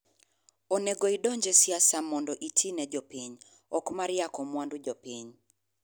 Onego idonj e siasa mondo iti ne jopiny, okmar yako mwandu jopiny.